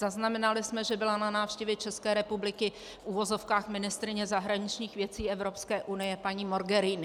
Zaznamenali jsme, že byla na návštěvě České republiky - v uvozovkách - ministryně zahraničních věcí Evropské unie paní Mogherini.